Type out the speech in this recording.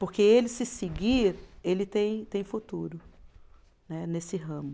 Porque ele se seguir, ele tem tem futuro, né, nesse ramo.